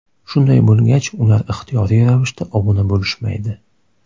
Shunday bo‘lgach ular ixtiyoriy ravishda obuna bo‘lishmaydi.